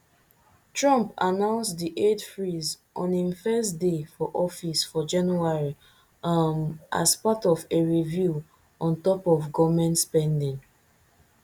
trump announce di aid freeze on im first day for office for january um as part of a review on top us goment spending